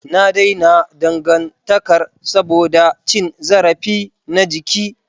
Na daina dangantakar saboda cin zarafi na jiki.